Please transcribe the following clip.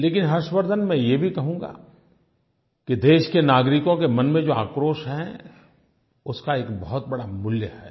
लेकिन हर्षवर्द्धन मैं ये भी कहूँगा कि देश के नागरिकों के मन में जो आक्रोश है उसका एक बहुतबड़ा मूल्य है